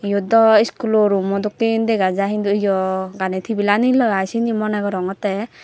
yot daw iskulo rummo dokkey dega jai hindu eyo gani tibil aniloi i seni moneh gorongottey.